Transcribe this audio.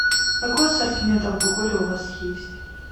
какой ассортимент алкоголя у вас есть